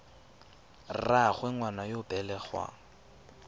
rraagwe ngwana yo o belegweng